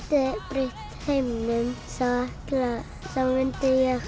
breytt heiminum þá myndi ég